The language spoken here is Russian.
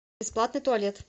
бесплатный туалет